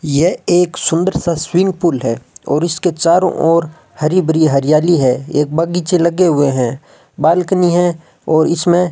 यह एक सुंदर सा स्विमिंग पूल है और इसके चारों ओर हरी भरी हरियाली है एक बगीचे लगे हुए है बालकनी है और इसमें --